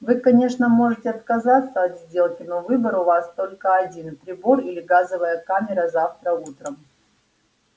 вы конечно можете отказаться от сделки но выбор у вас только один прибор или газовая камера завтра утром